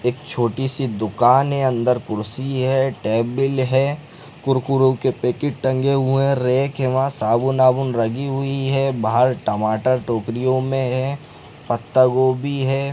एक छोटी- सी दुकान है अंदर कुर्सी है टेबिल है कुरकुरों के पैकिट टंगे हुए है रेक है वहाँ साबुन- आबून रगी हुई है बाहर टमाटर टोकरियों मे है पत्ता गोबी हैं।